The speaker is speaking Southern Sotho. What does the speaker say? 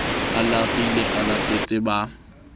a larile a latetse ba